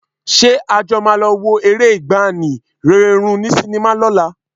Ṣé a jọ máa lọ wo eré ìgbàanì, Rẹ́rẹ́ Rún ní sinimá lọ́la?